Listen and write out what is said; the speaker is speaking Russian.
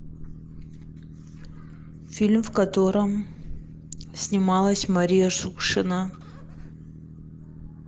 фильм в котором снималась мария шукшина